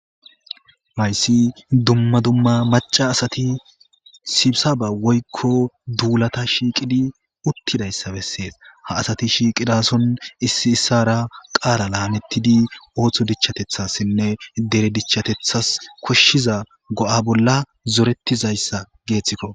Hayssi dumma dumma macca asati sibisaba woykko duulata shiiqidiuttidayssa bessees ha asati shiiqidaason issay issaara qaalan aadhettidi ootho dichatethassinne dere dichas go7a bolla zoretizayssa guussako.